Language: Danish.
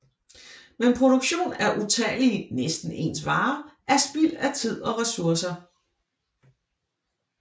Men produktion af utallige næsten ens varer er spild af tid og resurser